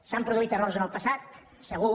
s’han produït errors en el passat segur